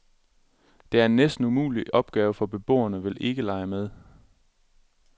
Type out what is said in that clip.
Det er en næsten umulig opgave, for beboerne vil ikke lege med.